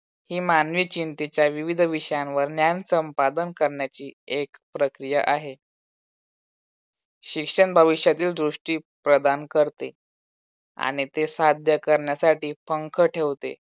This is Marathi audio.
ही मानवी चिंतेच्या विविध विषयांवर ज्ञान संपादन करण्याची एक प्रक्रिया आहे. शिक्षण भविष्यातील दृष्टी प्रदान करते आणि ते साध्य करण्यासाठी पंख ठेवते.